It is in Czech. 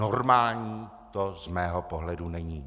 Normální to z mého pohledu není.